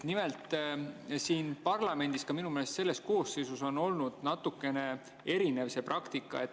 Nimelt, siin parlamendis, minu meelest ka selles koosseisus, on olnud natukene erinev see praktika.